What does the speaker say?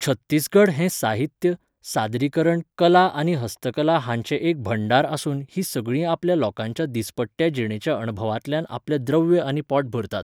छत्तीसगढ हें साहित्य, सादरीकरण कला आनी हस्तकला हांचें एक भंडार आसून हीं सगळीं आपल्या लोकांच्या दिसपट्ट्या जिणेच्या अणभवांतल्यान आपलें द्रव्य आनी पोट भरतात.